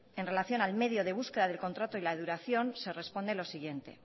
en relación al medio de búsqueda del contrato y la duración se responde lo siguiente